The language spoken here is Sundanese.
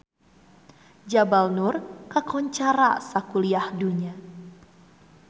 Jabal Nur kakoncara sakuliah dunya